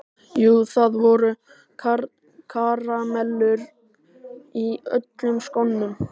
Jú, það voru karamellur í öllum skónum.